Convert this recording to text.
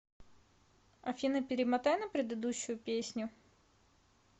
афина перемотай на прерыдущую песню